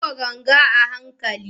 Buga ganga a hankali.